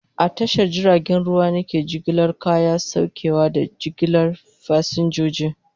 A tashar jiragen ruwa ne ke jigilar kaya, saukewa, da jigilar fasinjoji.